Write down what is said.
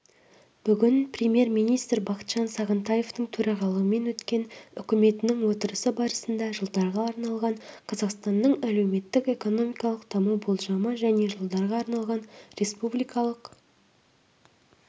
бүгін премьер-министр бақытжан сағынтаевтың төрағалығымен өткен үкіметінің отырысы барысында жылдарға арналған қазақстанның әлеуметтік-экономикалық даму болжамы және жылдарға арналған республикалық